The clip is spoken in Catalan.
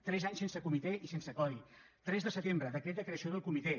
tres anys sense comitè i sense codi tres de setembre decret de creació del comitè